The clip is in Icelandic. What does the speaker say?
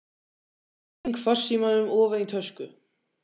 Ég sting farsímanum ofan í tösku.